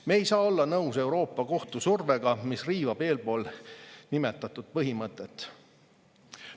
Me ei saa olla nõus Euroopa Kohtu survega, mis riivab eelpool nimetatud põhimõtet.